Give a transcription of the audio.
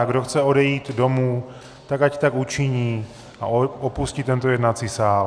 A kdo chce odejít domů, tak ať tak učiní a opustí tento jednací sál.